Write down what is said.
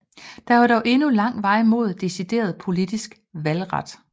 Der var dog endnu lang vej mod decideret politisk valgret